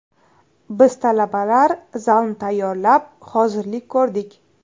Biz talabalar zalni tayyorlab, hozirlik ko‘rdik.